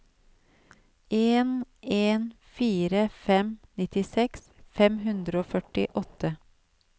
en en fire fem nittiseks fem hundre og førtiåtte